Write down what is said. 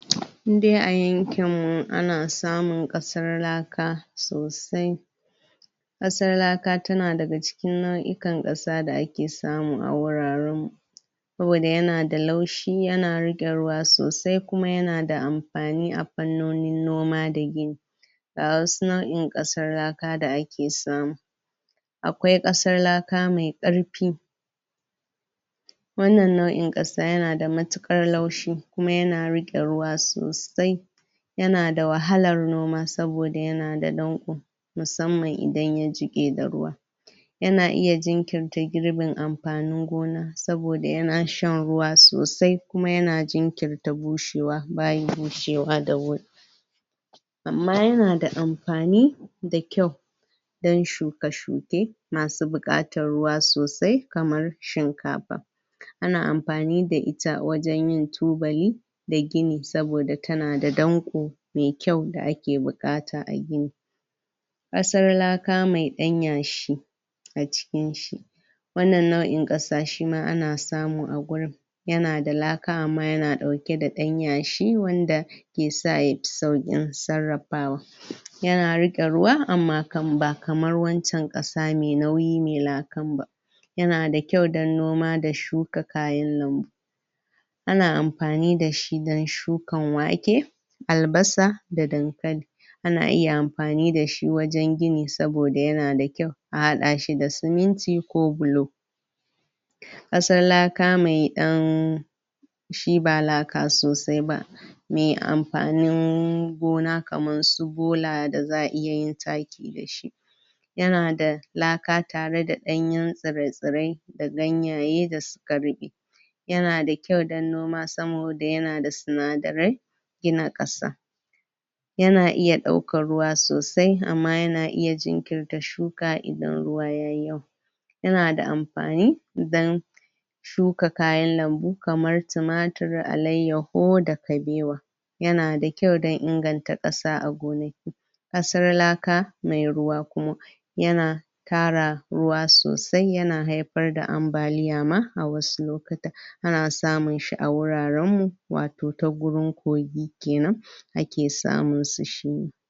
In dai a yankin ana samun ƙasar laka sosai, ƙasar laka tana daga cikin nau'ikan ƙasa da ake samu a wuraren mu. saboda yana da laushi ya na riƙe ruwa sosai, kuma ya na da amfani a fannonin noma da gini. Ga wasu nau'in ƙasar laka da ake samu, akwai ƙasar laka mai ƙarfi, wannan nau'in ƙasa yana da matuƙar laushi kuma yana riƙe ruwa sosai, yana da wahalar noma saboda yana da danƙo, musamman idan ya jiƙe da ruwa, yana iya jinkirta girbin amfanin gona, saboda yana shan ruwa sosai, kuma yana jinkirta bushewa ba ya bushewa da wuri. Amma yana da amfani da kyau don shuka-shuke masu buƙatar ruwa sosai kamar shinkafa, ana amfani da ita wajen yin tubali da gini. saboda tana da danƙo mai kyau da ake buƙata a gini. ƙasar laka mai ɗan yashi a cikin shi wannan nau'in ƙasa shima ana samu a gurin, yana da laka amma yana ɗauke da ɗan yashi wanda ke sa ya ƙi sauƙi sarrafawa yana riƙe ruwa amma ba kamar wancen ƙasa mai nauyin mai lakan ba. Yana da kyau don noma da shuka kayan lambu, ana amfani da shi don shukan wake, albasa da dankali, ana iya amfani da shi wajen gini saboda yana da kyau a haɗa shi da siminti ko bulo, ƙasar laka mai ɗan shi ba laka sosai ba, mai amfanin gona kamar su bola da za'a iya yin taki da shi, yana da laka tare da ɗanye tsire-tsire, da ganyaye da suka ruɓe, yana da kyau don noma saboda yana da sinadarai gina ƙasa yana iya ɗaukar ruwa sosai, amma yana iya jinkirta shuka, idan ruwa yayi yawa, yana da amfani don shuka kayan lambu, kamar tumatir, alayyahu da kabewa, yana da kyau don inganta ƙasa a gonaki. ƙasar laka mai ruwa kuma, yana ƙara ruwa sosai, yana haifar da ambaliya ma a wasu lokutan, ana samun shi a wuraren mu, wato ta gurin kogi kenan. a ke samun su.